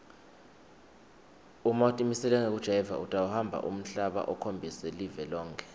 uma utimisele ngekujayiva utawuhamba umhlaba ukhombise live lonkhe